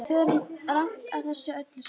Við förum rangt að þessu öllu saman.